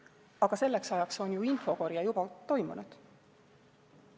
Aga selleks ajaks on ju infokorje juba toimunud.